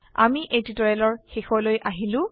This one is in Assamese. আমি এই টিউটোৰিয়েলৰ শেষলৈ আহিলো